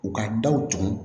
U ka daw tugu